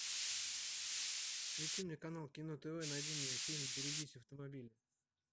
включи мне канал кино тв найди мне фильм берегись автомобиля